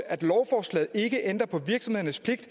at lovforslaget ikke ændrer på virksomhedernes pligt